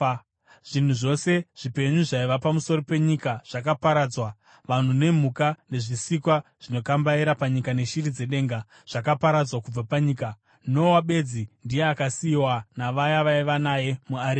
Zvinhu zvose zvipenyu zvaiva pamusoro penyika zvakaparadzwa, vanhu nemhuka, nezvisikwa zvinokambaira panyika neshiri dzedenga zvakaparadzwa kubva panyika. Noa bedzi ndiye akasiyiwa navaya vaiva naye muareka.